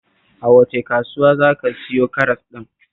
A wace kasuwa za ka siyo karas ɗin?